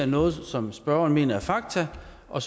noget som spørgeren mener er fakta og